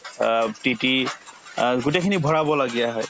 অ অ গোটেইখিনি ভৰাব লগীয়া হয়